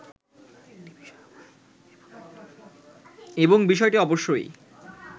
এবং বিষয়টি অবশ্যই